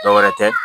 Dɔwɛrɛ tɛ